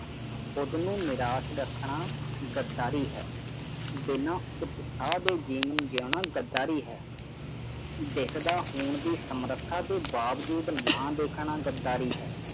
ਉਸ ਨੂੰ ਨਿਰਾਸ਼ ਰੱਖਣਾ ਗਦਾਰੀ ਹੈ ਬਿਨਾਂ ਉਤਸ਼ਾਹ ਦੇ ਜੀਵਨ ਜਿਊਣਾ ਗਦਾਰੀ ਹੈ ਦਿਸ ਦਾ ਹੋਣ ਦੀ ਸਮਰੱਥਾ ਦੇ ਬਾਵਜੂਦ ਨਾ ਦੇਖਣਾ ਗਦਾਰੀ ਹੈ